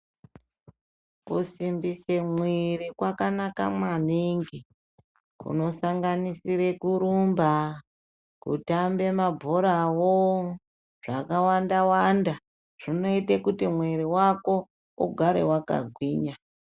Kusimbise mwiiri kwakanaka maningi kunosanganisire kurumba, kutambe mabhorawo, zvakawanda-wanda. Zvinoite kuti mwiiri wako ugare wakagwinya.